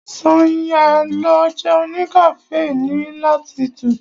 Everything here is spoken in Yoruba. Sànyà lọ jẹun ní cafe ti latitude.